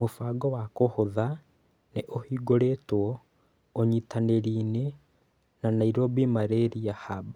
Mũbango wa kũhotha nĩ ũhingũrĩtwo ũnyitanĩri-inĩ na Nairobi malaria hub